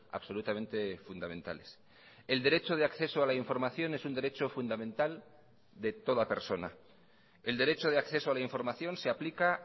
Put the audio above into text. absolutamente fundamentales el derecho de acceso a la información es un derecho fundamental de toda persona el derecho de acceso a la información se aplica